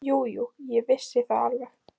Jú, jú, ég vissi það alveg.